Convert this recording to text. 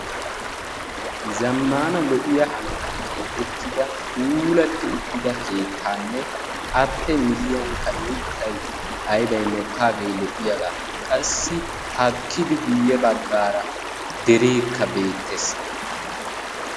Zamaana lo'iya hanotan keexettidda uttidda keettanne a matan lo'iya mittay mokkaga. Haakkiddi derekka beetees.